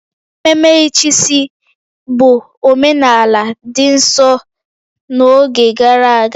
Ememe ịchịisi bụ omenala dị nsọ n'oge gara aga